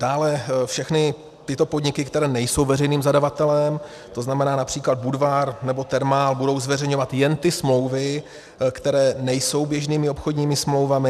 Dále, všechny tyto podniky, které nejsou veřejným zadavatelem, to znamená například Budvar nebo Thermal, budou zveřejňovat jen ty smlouvy, které nejsou běžnými obchodními smlouvami.